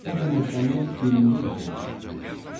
O bu meşəni birinci dəfə idi ki, görürdü.